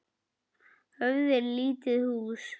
Höfði er lítið hús.